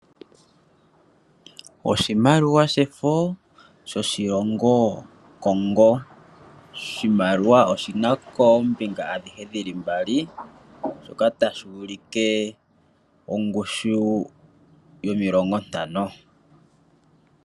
Oshimaliwa shefo shoshilongo Congo. Oshimaliwa oshina koombinga adhihe dhi li mbali, shoka tashi ulike ongushu yomilongo ntano.